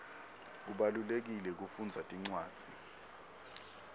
kubalulekile kufundza tincwadzi